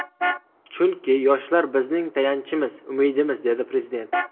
Chunki yoshlar bizning tayanchimiz, umidimiz”, dedi Prezident.